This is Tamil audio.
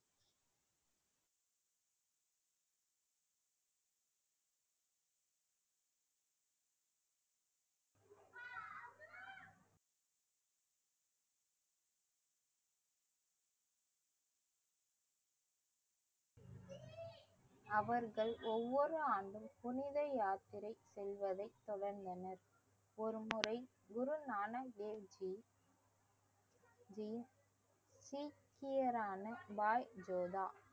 அவர்கள் ஒவ்வொரு ஆண்டும் புனித யாத்திரை செல்வதை தொடர்ந்தனர் ஒருமுறை குருநானக் தேவ்ஜி தேவ் சீக்கியரான பாய் ஜோதா